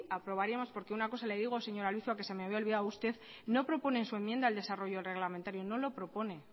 aprobaríamos porque una cosa le digo señora albizua que se me había olvidado usted no propone en su enmienda el desarrollo reglamentario no lo propone